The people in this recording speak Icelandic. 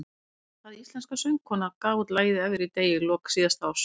Hvaða íslenska söngkona gaf út lagið Everyday í lok síðasta árs?